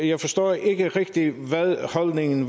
jeg forstår ikke rigtig hvad holdningen